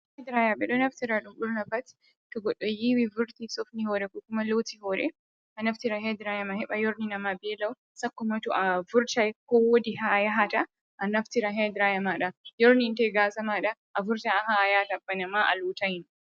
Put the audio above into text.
Hair dryer, ɓedo naftira dum burna pat to goɗɗo yiwi vurti sofni hore, ko kuma loti hore, a naftira hair dryer ma heɓa yorni nama ɓe lau: sakkoma to a vurtai, ko wodi ha a yahata. A naftira hair dryer mada yorninte gasa mada; a vurtan ha yahata pat bana ma a lotai no.